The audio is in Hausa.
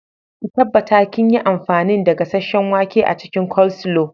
Ki tabbatar kinyi amfanin da gasheshshen wake a cikin coleslaw.